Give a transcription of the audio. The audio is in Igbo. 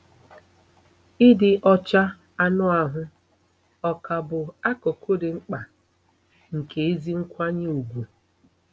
Ịdị ọcha anụ ahụ ọ̀ ka bụ akụkụ dị mkpa nke ezi nkwanye ùgwù?